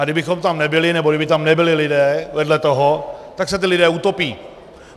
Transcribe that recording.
A kdybychom tam nebyli nebo kdyby tam nebyli lidé vedle toho, tak se ti lidé utopí.